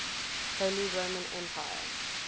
holy roman empire